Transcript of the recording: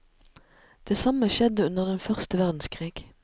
Det samme skjedde under den første verdenskrig.